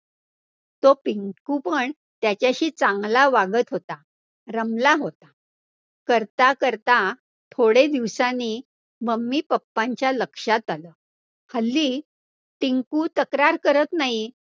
तो पिंकु पण त्याच्याशी चांगला वागत होता, रमला होता, करता करता थोडेदिवसांनी mummy papa च्या लक्षात आलं, हल्ली टिंकु तक्रार करतं नाही.